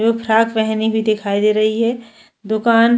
एक फ्राक पहनी हुई दिखाई दे रही है दुकान-